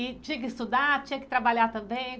E tinha que estudar, tinha que trabalhar também?